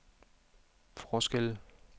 forskelle